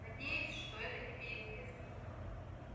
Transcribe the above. надеюсь что это тебе известно